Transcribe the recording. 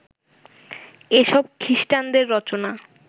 এসব খিস্টানদের রটনা